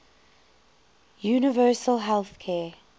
universal health care